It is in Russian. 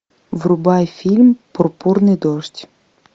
врубай фильм пурпурный дождь